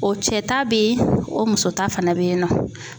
O cɛ ta bɛ ye o muso ta fana bɛ yen nɔ.